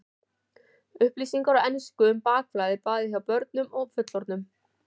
Upplýsingar á ensku um bakflæði, bæði hjá börnum og fullorðnum.